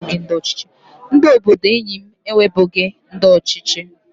Ndị obodo enyi m enwebughi ndị ọchịchị